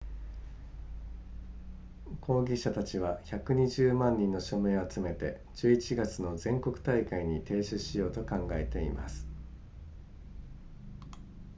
抗議者たちは120万人の署名を集めて11月の全国大会に提出しようと考えています